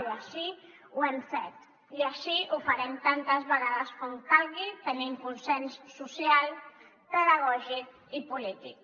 i així ho hem fet i així ho farem tantes vegades com calgui tenint consens social pedagògic i polític